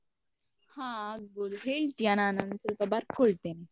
ಹಾ ಆಗ್ಬೋದು, ಹೇಳ್ತಿಯ ನಾನು ಒಂದು ಸ್ವಲ್ಪ ಬರ್ಕೊಳ್ತೇನೆ.